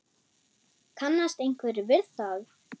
Kannast einhver við það?